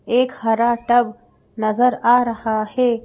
एक हरा टब नजर आ रहा है।